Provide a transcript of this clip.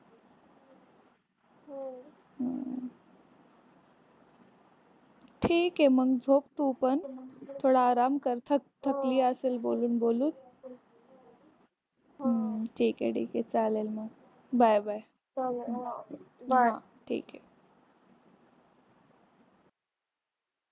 ठीक आहे मग झोप तू पण थोडा आराम कर. थकली असेल बोलून बोलून. हम्म ठीक आहे ठीक आहे चालेल मग bye bye. हां ठीक आहे.